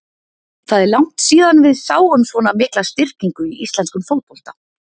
Það er langt síðan við sáum svona mikla styrkingu í íslenskum fótbolta.